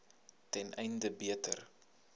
ten einde beter